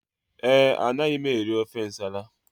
Ee, anaghị m eri ofe nsala